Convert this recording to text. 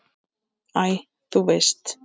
Æ, þú veist.